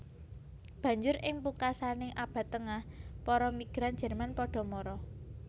Banjur ing pungkasaning Abad Tengah para migran Jerman padha mara